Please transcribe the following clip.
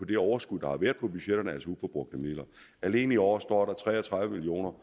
det overskud der har været på budgetterne altså uforbrugte midler alene i år står der tre og tredive million